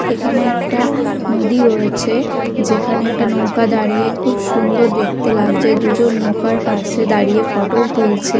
এখানে একটা নদী রয়েছে যেখানে একটা নৌকা দাঁড়িয়ে খুব সুন্দর দেখতে লাগছে দুজন নৌকার পাশে দাঁড়িয়ে ফোটো -ও তুলছে।